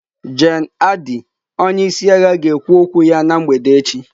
Gen Adi onye isi agha ga-ekwu okwu ya na mgbede echi.